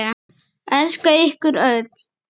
Elska ykkur öll.